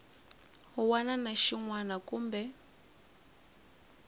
wana na xin wana kumbe